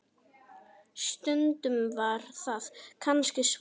Stundum var það kannski svo.